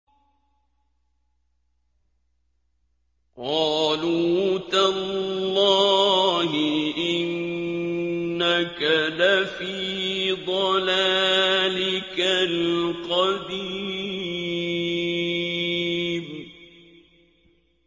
قَالُوا تَاللَّهِ إِنَّكَ لَفِي ضَلَالِكَ الْقَدِيمِ